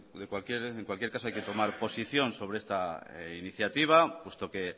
en cualquier caso hay que tomar posición sobre esta iniciativa puesto que